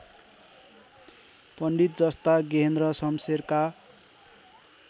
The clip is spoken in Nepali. पण्डितजस्ता गेहेन्द्र शमशेरका